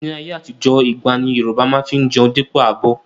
Ni ayé àtijó, igbá ni Yorùbá má fi ń jẹun dípò abọ́